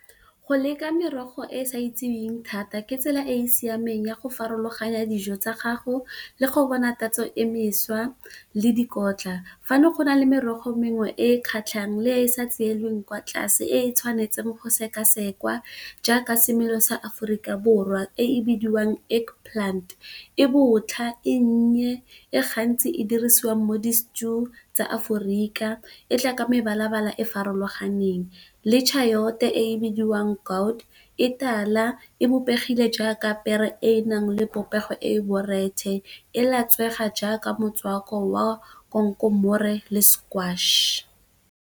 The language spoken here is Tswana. Go leka merogo e e sa itseweng thata ke tsela e e siameng ya go farologanya dijo tsa gago le go bona tatso e meša le dikotla. Fa ne go na le merogo mengwe e e kgatlhang le e e sa tseleng kwa tlase e e tshwanetseng go sekasekwa jaaka, semelo sa Aforika Borwa e bidiwang eggplant e botlha, e nnye e gantsi e dirisiwa mo di stew tsa Aforika e tla ka mebala-bala e farologaneng. Le tšhaota e bidiwang gaurd e tala, e bopegile jaaka pere e e nang le popego e borethe e latswega jaaka motswako wa konkomore le squash.